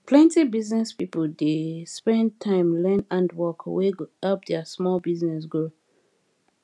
plenty business people dey spend time learn handwork wey go help their small business grow